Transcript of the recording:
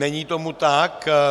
Není tomu tak.